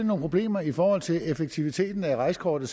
nogle problemer i forhold til effektiviteten af rejsekortet